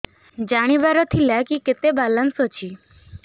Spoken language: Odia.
ଜାଣିବାର ଥିଲା କି କେତେ ବାଲାନ୍ସ ଅଛି